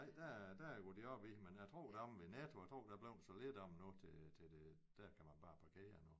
Nej der der går de op i det men jeg tror deromme ved Netto jeg tror der er blevet så lidt af dem nu til til det der kan man bare parkere nu